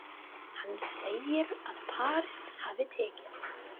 Hann segir að París hafi tekið